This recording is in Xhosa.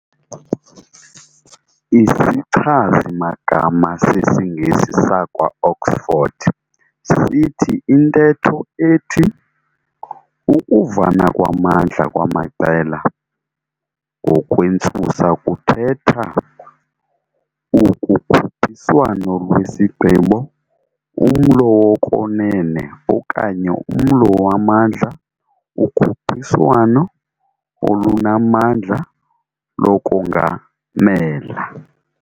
I"sichazi magama sesiNgesi sakwa Oxford" sithi intetho ethi "ukuvana kwamandla kwamaqela" ngokwentsusa kuthetha "ukukhuphiswano lwesigqibo, umlo wokwenene okanye umlo wamandla, ukhuphiswano olunamandla lokungamela".